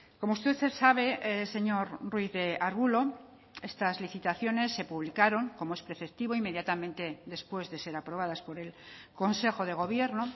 como usted sabe señor ruiz de arbulo estas licitaciones se publicaron como es preceptivo inmediatamente después de ser aprobadas por el consejo de gobierno